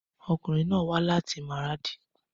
Ọkunrin naa wa lati Maradi